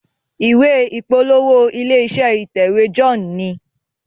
ìwé ìpolówó ilé-iṣẹ́ ìtẹ̀wé John ní.